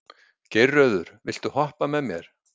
Geirröður, viltu hoppa með mér?